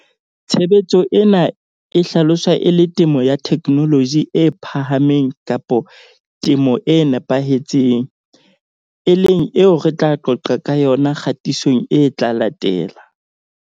Tshebetso ena e hlaloswa e le temo ya theknoloji e phahameng kapa temo e nepahetseng, e leng eo re tla qoqa ka yona kgatisong e tla latela.